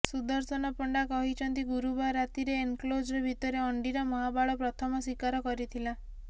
ସୁଦର୍ଶନ ପଣ୍ଡା କହିଛନ୍ତି ଗୁରୁବାର ରାତିରେ ଏନକ୍ଲୋଜର ଭିତରେ ଅଣ୍ଡିରା ମହାବାଳ ପ୍ରଥମ ଶିକାର କରିଥିଲା